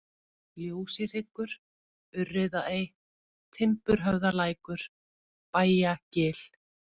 Ljósihryggur, Urriðaey, Timburhöfðalækur, Bæjagil